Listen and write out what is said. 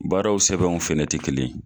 Baaraw sɛbɛnw fɛnɛ tɛ kelen ye.